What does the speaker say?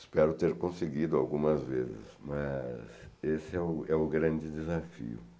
Espero ter conseguido algumas vezes, mas esse é o é o grande desafio.